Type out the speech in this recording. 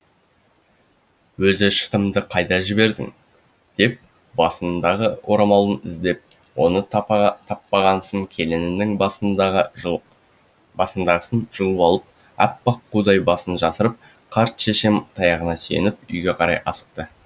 өзі шытымды қайда жібердің деп басындағы орамалын іздеп оны таппағасын келінінің басындағы жұлып басындағысын жұлып алып аппақ қудай басын жасырып қарт шешем таяғына сүйеніп үйге қарай асықты